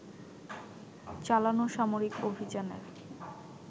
চালানো সামরিক অভিযানের